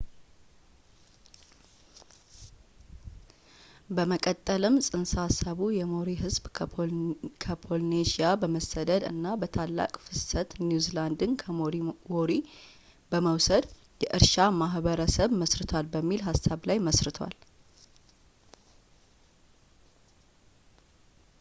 በመቀጠልም ጽንሰ ሃሳቡ የሞሪ ሕዝብ ከፖሊኔዥያ በመሰደድ እና በታላቅ ፍሰት ኒው ዚላንድን ከሞሪዎሪ በመውሰድ የእርሻ ማህበረሰብ መስርቷል በሚል ሃሳብ ላይ መስርቷል